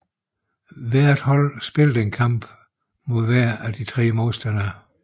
Hver hold spillede en enkelt kamp mod hver af de tre modstandere